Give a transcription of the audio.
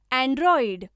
Android